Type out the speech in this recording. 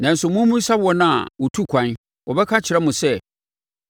Nanso mommisa wɔn a wɔtu kwan; wɔbɛka akyerɛ mo sɛ